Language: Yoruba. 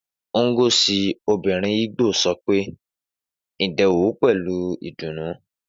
Ngozi, obìnrin Igbo, sọ pé Ndewo pẹ̀lú ìdùnnú.